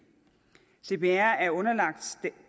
cpr er underlagt